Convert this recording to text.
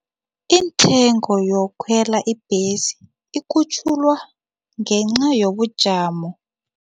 Iintengo yokukhwela ibhesi ikhutjhulwa ngenca yobujamo.